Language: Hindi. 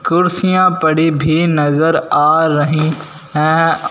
कुर्सियां पड़ी भी नज़र आ रही हैं।